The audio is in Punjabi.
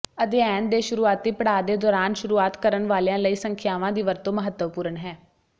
ਅਧਿਐਨ ਦੇ ਸ਼ੁਰੂਆਤੀ ਪੜਾਅ ਦੇ ਦੌਰਾਨ ਸ਼ੁਰੂਆਤ ਕਰਨ ਵਾਲਿਆਂ ਲਈ ਸੰਖਿਆਵਾਂ ਦੀ ਵਰਤੋਂ ਮਹੱਤਵਪੂਰਨ ਹੈ